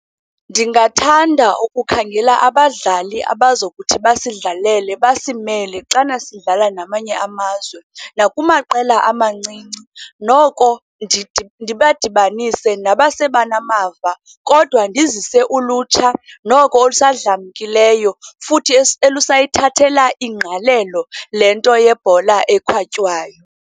Ndingathanda ukukhangela abadlali abazokuthi basidlalele, basimele, xana sidlala namanye amazwe nakumaqela amancinci, noko ndibadibanise nabasenamava. Kodwa ndizise ulutsha noko olusadlamkileyo, futhi elusayithathela ingqalelo le nto yebhola ekhatywayo.